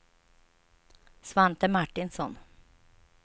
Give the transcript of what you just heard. Svante Martinsson